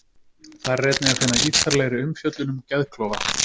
Þar er einnig að finna ítarlegri umfjöllun um geðklofa.